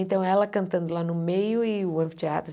Então, ela cantando lá no meio e o anfiteatro.